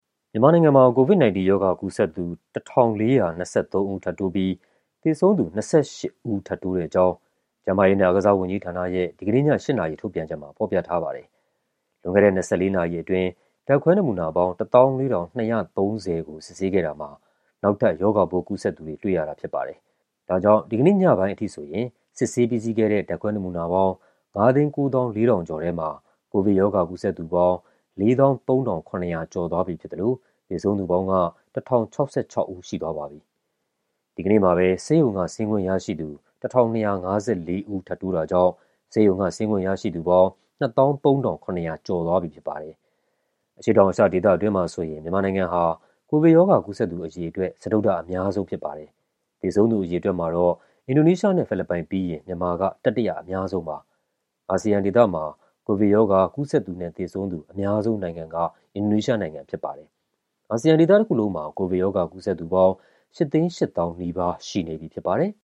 မြန်မာနိုင်ငံမှာ COVID-19 ရောဂါကူးစက်သူ ၁,၄၂၃ ဦး ထပ်တိုးပြီး သေဆုံးသူ ၂၈ ဦး ထပ်တိုးတဲ့အကြောင်း ကျန်းမာရေးနဲ့ အားကစားဝန်ကြီးဌာနရဲ့ ဒီကနေ့ည ၈ နာရီ ထုတ်ပြန်ချက်မှာ ဖော်ပြထားပါတယ်။ လွန်ခဲ့တဲ့ ၂၄ နာရီအတွင်း ဓာတ်ခွဲနမူနာပေါင်း ၁၄,၂၃၀ ခုကို စစ်ဆေးခဲ့တာမှာ နောက်ထပ် ရောဂါပိုးကူးစက်သူတွေ တွေ့ရတာဖြစ်ပါတယ်။ ဒါကြောင့် ဒီကနေ့ညပိုင်းအထိဆိုရင် စစ်ဆေးပြီးစီးခဲ့တဲ့ ဓာတ်ခွဲနမူနာပေါင်း ၅၉၄,၁၅၁ ခုထဲမှာ ကိုဗစ်ရောဂါ ကူးစက်သူပေါင်း ၄၃,၇၈၈ ဦး ရှိသွားပြီဖြစ်သလို သေဆုံးသူပေါင်းက ၁,၀၆၆ ဦး ရှိသွားပါပြီ။ ဒီကနေ့မှာပဲ ဆေးရုံက ဆင်းခွင့်ရရှိသူ ၁,၂၅၄ ဦး ထပ်တိုးတာကြောင့် ဆေးရုံက ဆင်းခွင့်ရရှိသူပေါင်း ၂၃,၇၀၈ ဦး ရှိသွားပြီဖြစ်ပါတယ်။ အရှေ့တောင်အာရှဒေသအတွင်းမှာဆိုရင် မြန်မာနိုင်ငံဟာ ကိုဗစ်ရောဂါ ကူးစက်သူ အရေအတွက် စတုတ္ထအများဆုံး ဖြစ်ပါတယ်။ သေဆုံးသူအရေအတွက်မှာတော့ အင်ဒိုနီးရှားနဲ့ ဖိလစ်ပိုင်ပြီးရင် မြန်မာက တတိယအများဆုံးပါ။ အာဆီယံဒေသမှာ ကိုဗစ်ရောဂါ ကူးစက်သူနဲ့ သေဆုံးသူ အများဆုံးနိုင်ငံက အင်ဒိုနီးရှားနိုင်ငံ ဖြစ်ပါတယ်။ အာဆီယံဒေသတခုလုံးမှာ ကိုဗစ်ရောဂါ ကူးစက်သူပေါင်း ၈၈၀,၀၀၀ နီးပါး ရှိနေပြီဖြစ်ပါတယ်။